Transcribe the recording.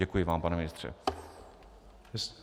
Děkuji vám, pane ministře.